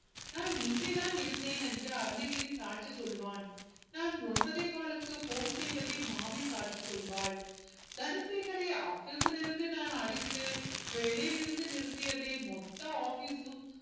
நான் இங்கேதான் இருந்தேன் என்று அருணகிரி சாட்சி சொல்வான் நான் ஒன்பதேகாலுக்கு phone செய்ததை மாமி சாட்சி சொல்வாள் தனசேகரை office ல் இருந்து நான் அடித்து வேலையிலிருந்து நிறுத்தியதை மொத்த office ம்